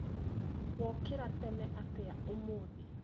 Wokĩra tene atĩa ũmũthĩ?